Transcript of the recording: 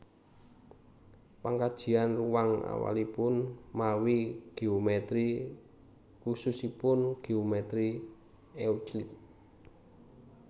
Pangkajian ruwang awalipun mawi géomètri khususipun géomètri euclid